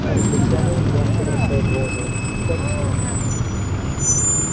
англичанин мягко бросает вожжи кончено